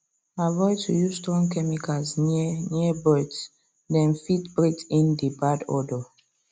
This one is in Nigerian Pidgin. avoid to use strong chemicals near near bords dem fit breath in the bad odour